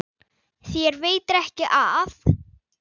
Þér veitir ekki af.